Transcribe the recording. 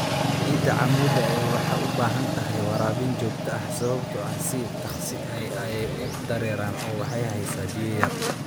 Ciida cammuudda ah waxay u baahan tahay waraabin joogto ah sababtoo ah si dhakhso ah ayay u dareeraan oo waxay haysaa biyo yar.